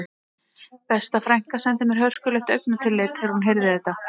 Besta frænka sendi mér hörkulegt augnatillit þegar hún heyrði þetta